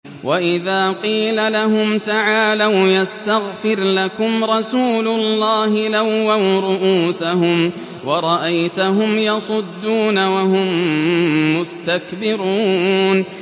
وَإِذَا قِيلَ لَهُمْ تَعَالَوْا يَسْتَغْفِرْ لَكُمْ رَسُولُ اللَّهِ لَوَّوْا رُءُوسَهُمْ وَرَأَيْتَهُمْ يَصُدُّونَ وَهُم مُّسْتَكْبِرُونَ